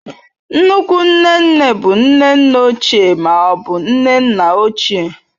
Nnukwu nne nne bụ nne nne ochie ma ọ bụ nne nna ochie.